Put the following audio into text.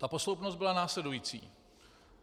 Ta posloupnost byla následující.